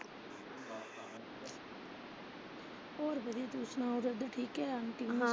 ਹੋਰ ਵਧੀਆ ਤੁਸੀਂ ਸੁਣਾਉ ਰਵੀ ਠੀਕ ਹੈ।